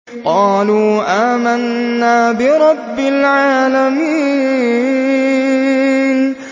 قَالُوا آمَنَّا بِرَبِّ الْعَالَمِينَ